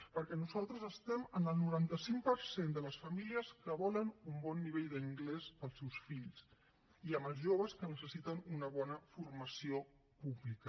perquè nosaltres estem amb el noranta cinc per cent de les famílies que volen un bon nivell d’anglès per als seus fills i amb els joves que necessiten una bona formació pública